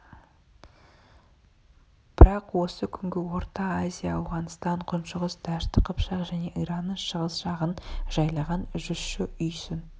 бірақ осы күнгі орта азия ауғанстан күншығыс дәшті қыпшақ және иранның шығыс жағын жайлаған жүзші үйсін